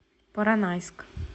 поронайск